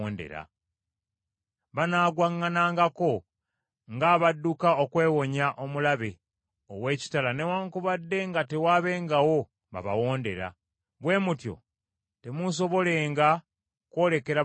Banaagwaŋŋanangako ng’abadduka okwewonya omulabe ow’ekitala newaakubadde nga tewaabengawo babawondera. Bwe mutyo temuusobolenga kwolekera balabe bammwe.